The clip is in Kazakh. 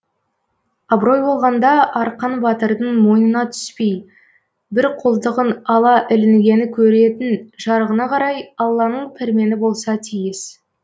абырой болғанда арқан батырдың мойнына түспей бір қолтығын ала ілінгені көретін жарығына қарай алланың пәрмені болса тиіс